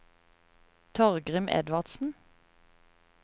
Torgrim Edvardsen